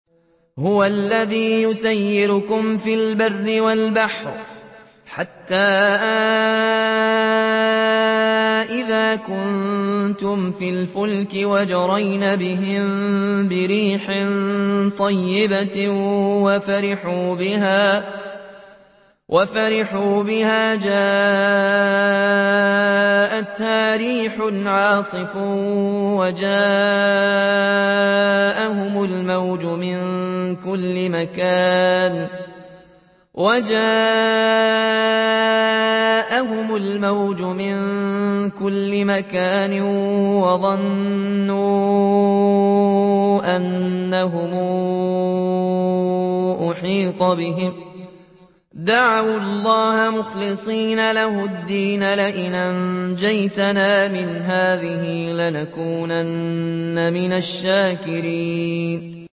هُوَ الَّذِي يُسَيِّرُكُمْ فِي الْبَرِّ وَالْبَحْرِ ۖ حَتَّىٰ إِذَا كُنتُمْ فِي الْفُلْكِ وَجَرَيْنَ بِهِم بِرِيحٍ طَيِّبَةٍ وَفَرِحُوا بِهَا جَاءَتْهَا رِيحٌ عَاصِفٌ وَجَاءَهُمُ الْمَوْجُ مِن كُلِّ مَكَانٍ وَظَنُّوا أَنَّهُمْ أُحِيطَ بِهِمْ ۙ دَعَوُا اللَّهَ مُخْلِصِينَ لَهُ الدِّينَ لَئِنْ أَنجَيْتَنَا مِنْ هَٰذِهِ لَنَكُونَنَّ مِنَ الشَّاكِرِينَ